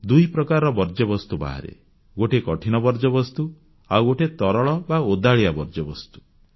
ଦୁଇ ପ୍ରକାରର ବର୍ଜ୍ୟବସ୍ତୁ ବାହାରେ ଗୋଟିଏ କଠିନ ବର୍ଜ୍ୟବସ୍ତୁ ଆଉ ଗୋଟିଏ ତରଳ ବା ଓଦାଳିଆ ବର୍ଜ୍ୟବସ୍ତୁ